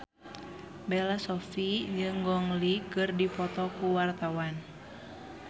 Bella Shofie jeung Gong Li keur dipoto ku wartawan